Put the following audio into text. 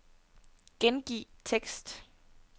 Gengiv tekst.